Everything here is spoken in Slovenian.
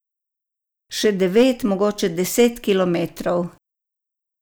Še devet, mogoče deset kilometrov.